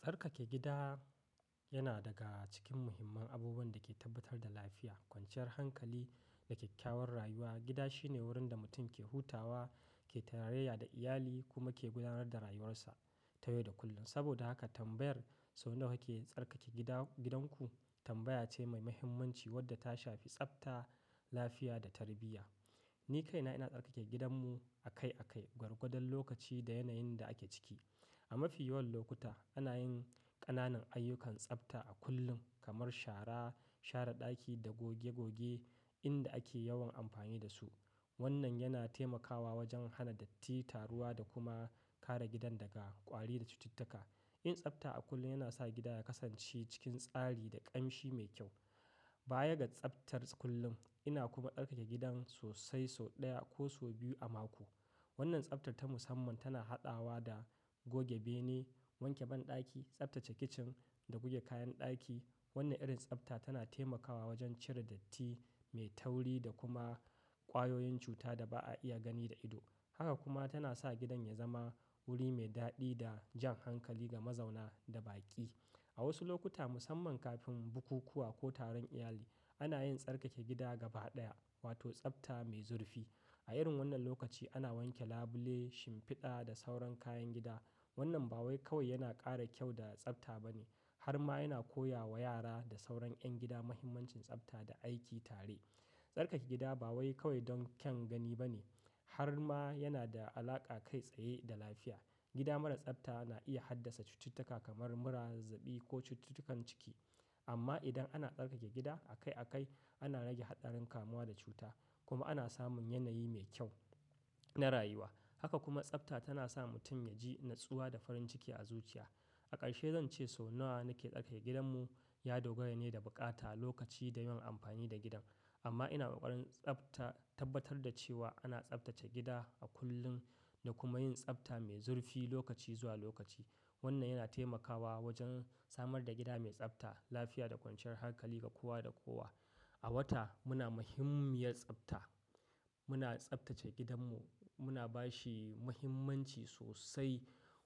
Tsarkake gida yana daga cikin muhimman abubuwan da ke tabbatar da lafiya, kwanciyar hankali da kyakkyawar rayuwa. Gida shine wurin da mutum ke hutawa, ke tarayya da iyali kuma ke gudanar da rayuwarsa ta yau da kullum. Saboda haka tambayar sau nawa kake tsarkake gida gidanku tambaya ce mai muhimmanci wadda ta shafi tsafta, lafiya da tarbiyya. Ni kaina ina tsarkake gidanmu akai akai, gwargwadon lokaci da yanayin da ake ciki. A mafi yawan lokuta ana yin ƙananan ayyukan tsafta a kullum kamar shara, share ɗaki da goge goge inda ake yawan amfani da su. Wannan yana taimakawa wajen hana datti, taruwa da kuma kare gidan daga ƙwari da cututtuka. Yin tsafta a kullum yana sa gida ya kasance cikin tsari da ƙamshi mai kyau. Baya ga tsaftar kullum, ina kuma tsarkake gidan sosai sau ɗaya ko sau biyu a mako. Wannan tsaftar ta musamman tana haɗawa da goge bene, wanke banɗaki, tsaftace kicin da goge kayan ɗaki. Wannan irin tsafta tana taimakawa wajen cire datti mai tauri da kuma ƙwayoyin cuta da ba a iya gani da ido. Haka kuma tana sa gidan ya zama wuri mai daɗi da jan hankali ga mazauna da baƙi. A wasu lokuta musamman kafin bukukuwa ko taron iyali, ana yin tsarkake gida gaba ɗaya wato tsafta mai zurfi. A irin wannan lokaci ana wanke labule, shimfiɗa da sauran kayan gida. Wannan ba wai kawai yana ƙara kyau da tsafta bane harma yana koya wa yara da sauran ƴan gida muhimmancin tsafta da aiki tare. Tsarkake gida ba wai kawai don kyan gani bane harma yana da alaƙa kai tsaye da lafiya. Gida marar tsafta na iya haddasa cututtuka kamar mura zazzabɓi ko cututtukan ciki. Amma idan ana tsarkake gida akai akai, ana rage haɗarin kamuwa da cuta kuma ana samun yanayi mai kyau na rayuwa. Haka kuma tsafta tana sa mutum ya ji natsuwa da farin ciki a zuciya. A ƙarshe zan ce sau nawa nake tsarkake gidanmu ya dogara ne da buƙata, lokaci da yawan amfani da gidan. Amma ina ƙoƙarin tsafta tabbatar da cewa ana tsaftace gida a kullum da kuma yin tsafta mai zurfi lokaci zuwa lokaci. Wannan yana taimakawa wajen samar da gida mai tsafta, lafiya da kwanciyar hankali ga kowa da kowa. A wata muna muhimmiyar tsafta. Muna tsaftace gidanmu, muna ba shi muhimmanci sosai